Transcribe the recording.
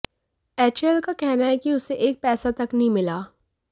HAL का कहना है कि उसे एक पैसा तक नहीं मिला